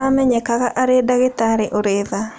Aamenyekaga arĩ ndagĩtarĩ ũrĩ tha.